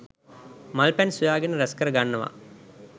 මල් පැන් සොයා ගෙන රැස්කර ගන්නවා.